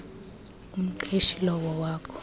umqeshi lowo wakho